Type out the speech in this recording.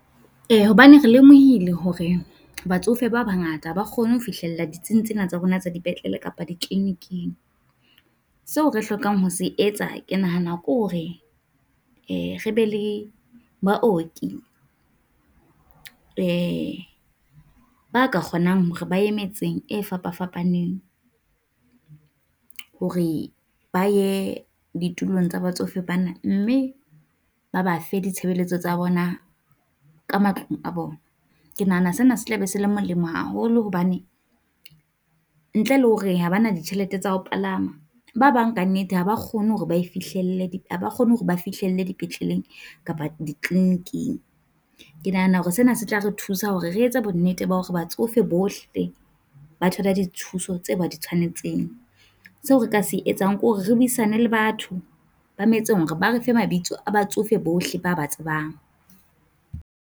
Eh hobane re lemohile hore batsofe ba bangata ha ba kgone ho fihlella ditsing tsena tsa rona tsa dipetlele kapa di-clinic-ng, seo re hlokang ho se etsa ke nahana ke hore re be le baoki e ba ka kgonang hore ba ye metseng e fapafapaneng hore ba ye ditulong tsa batsofe bana, mme ba ba fe ditshebeletso tsa bona ka matlong a bona. Ke nahana sena se tla be se le molemo haholo hobane ntle le hore ha bana ditjhelete tsa ho palama ba bang ka nnete ha ba kgone hore ba e fihlelle ha ba kgone hore ba fihlile dipetleleng kapa di-clinic-ng. Ke nahana hore sena se tla re thusa hore re etse bonnete ba hore batsofe bohle ba thola di thuso tse ba di tshwanetseng. Seo re ka se etsang ke hore re buisane le batho ba metseng hore ba re fe mabitso a batsofe bohle ba ba tsebang.